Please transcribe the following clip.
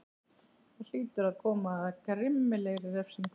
Það hlýtur að koma að grimmilegri refsingu.